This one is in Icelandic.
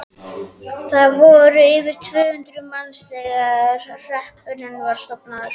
Þar voru yfir tvö hundruð manns þegar hreppurinn var stofnaður.